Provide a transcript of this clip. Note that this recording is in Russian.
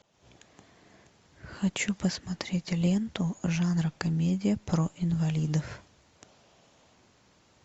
хочу посмотреть ленту жанра комедия про инвалидов